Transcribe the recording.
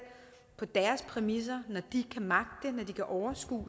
på deres præmisser når de kan magte det når de kan overskue